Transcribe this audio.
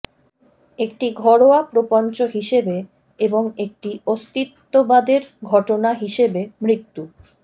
একটি ঘরোয়া প্রপঞ্চ হিসেবে এবং একটি অস্তিত্ববাদের ঘটনা হিসেবে মৃত্যু